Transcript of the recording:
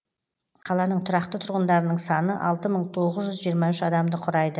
қаланың тұрақты тұрғындарының саны алты мың тоғыз жүз жиырма үш адамды құрайды